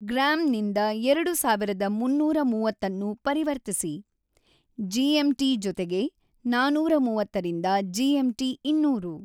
Gram ನಿಂದ ಎರಡು ಸಾವಿರದ ಮುನ್ನೂರ ಮೂವತ್ತನ್ನು ಪರಿವರ್ತಿಸಿ. ಮೀ. ಟಿ. ಜೊತೆಗೆ ನಾನೂರ ಮೂವತ್ತರಿಂದ ಜಿ. ಮೀ. ಟಿ. ಇನ್ನೂರು